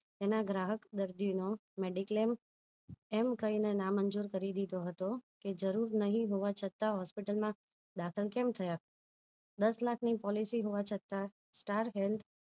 તેના ગ્રાહક દર્દીનો mediclaim એમ કહીને ના મંજુર કરી દીધો હતો કે જરૂર નહિ હોવા છતાં hospital માં દાખલ કેમ થયા દસ લાખ ની policy હોવા છતાં star health